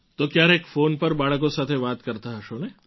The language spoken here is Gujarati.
તો ક્યારેક ફૉન પર બાળકો સાથે વાતો કરતા હશો ને